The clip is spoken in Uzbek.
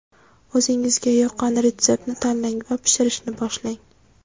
O‘zingizga yoqqan retseptni tanlang va pishirishni boshlang!